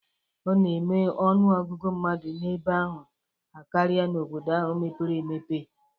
Ọ na-eme ọnụ ọgụgụ mmadụ n'ebe ahụ akarịa n'obodo ahụ mepere emepe.